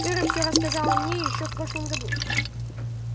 кэро все рассказала мне ещё в прошлом году